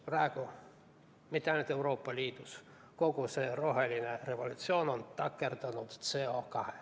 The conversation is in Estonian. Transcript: Praegu mitte ainult Euroopa Liidus, vaid kogu see roheline revolutsioon on takerdunud CO2.